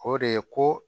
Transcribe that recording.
O de ye ko